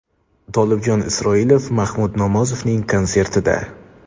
Tolibjon Isroilov Mahmud Nomozovning konsertida.